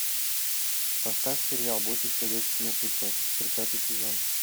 поставь сериал бойтесь ходячих мертвецов тридцатый сезон